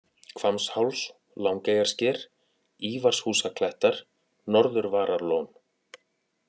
Hvammsháls, Langeyjarsker, Ívarshúsaklettar, Norðurvararlón